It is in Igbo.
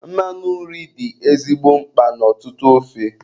Mmanụ nri dị ezigbo mkpa n' ọtụtụ ofe.